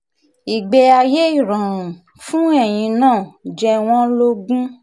ìgbé ayé ìrọ̀rùn fún ẹ̀yin náà jẹ wọ́n lógún